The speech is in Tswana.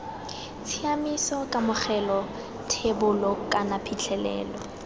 tshiaimiso kamogelo thebolo kana phitlhelelo